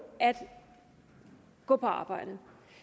at gå på arbejde